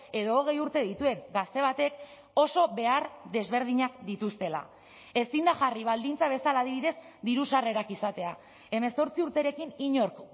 edo hogei urte dituen gazte batek oso behar desberdinak dituztela ezin da jarri baldintza bezala adibidez diru sarrerak izatea hemezortzi urterekin inork